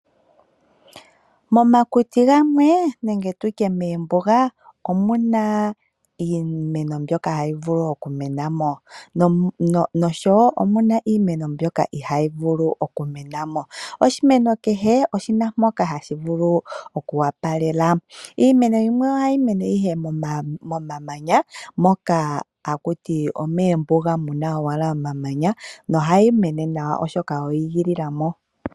Momakuti gamwe nenge tutye moombuga omuna iimeno mbyoka ha yi vulu okumena mo, nosho wo omuna iimeno mbyoka ihayi vulu okumena mo. Oshimeno kehe oshi na mpoka hashi vulu oku opalela. Iimeno yimwe ohayi mene ihe momamanya moka ha ku ti omombuga mu na wala omamanya noha yi mene nawa oshoka oya igililamo.